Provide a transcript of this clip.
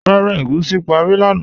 Rárá, ègúsi párí lánà